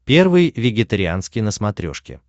первый вегетарианский на смотрешке